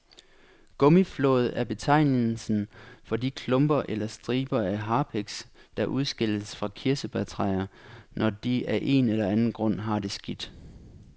Gummiflåd er betegnelsen for de klumper eller striber af harpiks, der udskilles fra kirsebærtræer, når de af en eller anden grund har det skidt.